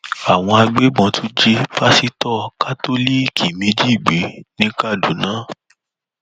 àwọn agbébọn tún jí pásítọ kátólíìkì méjì gbé ní kaduna